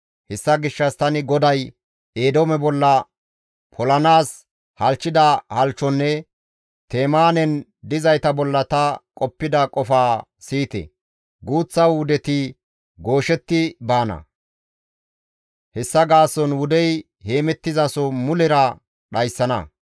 Hessa gishshas tani GODAY Eedoome bolla polanaas halchchida halchchonne Temaanen dizayta bolla ta qoppida qofaa siyite! guuththa wudeti gooshetti baana; hessa gaason wudey heemettizaso mulera dhayssana.